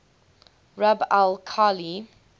rub al khali